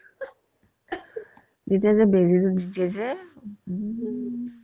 যেতিয়া যে বেজি য'ত দিয়ে যে